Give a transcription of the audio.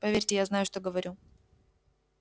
поверьте я знаю что говорю